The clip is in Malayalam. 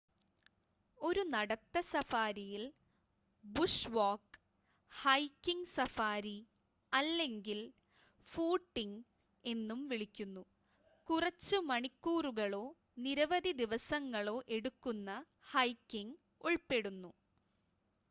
"ഒരു നടത്ത സഫാരിയിൽ "ബുഷ് വാക്ക്" "ഹൈക്കിംഗ് സഫാരി" അല്ലെങ്കിൽ "ഫൂട്ടിംഗ്" എന്നും വിളിക്കുന്നു കുറച്ച് മണിക്കൂറുകളോ നിരവധി ദിവസങ്ങളോ എടുക്കുന്ന ഹൈക്കിംഗ് ഉൾപ്പെടുന്നു.